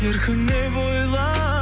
еркіме бойлап